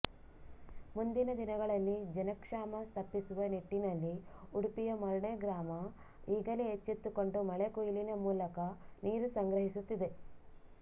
ಮುಂದಿನ ದಿನಗಳಲ್ಲಿ ಜನಕ್ಷಾಮ ತಪ್ಪಿಸುವ ನಿಟ್ಟಿನಲ್ಲಿ ಉಡುಪಿಯ ಮರ್ಣೆ ಗ್ರಾಮ ಈಗಲೇ ಎಚ್ಚೆತ್ತುಕೊಂಡು ಮಳೆ ಕುಯ್ಲಿನ ಮೂಲಕ ನೀರು ಸಂಗ್ರಹಿಸುತ್ತಿದೆ